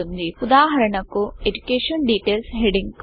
ఉదాహరణకు EDUCATION DETAILSఎజుకేషన్ details హెడింగ్కు రంగు ఇద్దాం